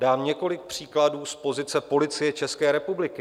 Dám několik příkladů z pozice Policie České republiky.